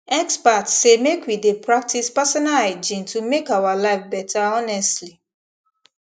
experts say make we dey practice personal hygiene to make our life better honestly